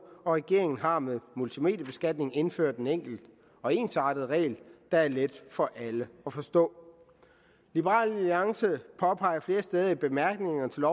regeringen har med multimediebeskatningen indført en enkel og ensartet regel der er let for alle at forstå liberal alliance påpeger flere steder i bemærkningerne til